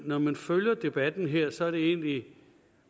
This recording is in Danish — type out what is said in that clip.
når man følger debatten her så er det egentlig